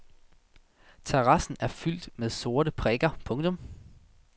Terrassen er fyldt med sorte prikker. punktum